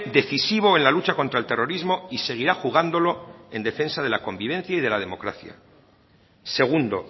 decisivo en la lucha contra el terrorismo y seguirá jugándolo en defensa de la convivencia y de la democracia segundo